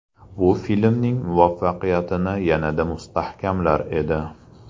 Bu filmning muvaffaqiyatini yanada mustahkamlar edi.